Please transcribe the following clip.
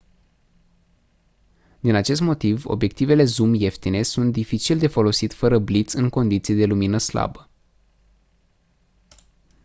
din acest motiv obiectivele zoom ieftine sunt dificil de folosit fără bliț în condiții de lumină slabă